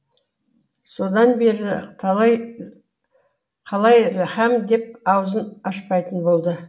содан бері қалай һәм деп аузын ашпайтын болды